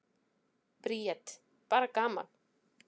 Bríet: Bara gaman.